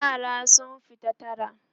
yara sun fito tara